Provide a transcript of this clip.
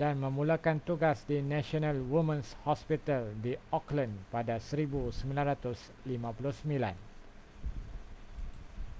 dan memulakan tugas di national women's hospital di auckland pada 1959